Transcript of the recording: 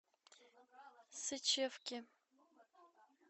сычевки